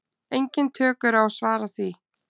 Engin tök eru á að svara því.